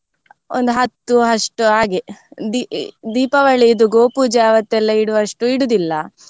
ಒಂದು ಹತ್ತು ಅಷ್ಟು ಹಾಗೆ ದೀಪಾವಳಿ ಇದು ಗೋಪೂಜೆ ಆವತ್ತೆಲ್ಲಾ ಇಡುವಷ್ಟು ಇಡುದಿಲ್ಲ